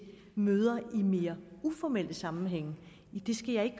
møder i mere uformelle sammenhænge skal jeg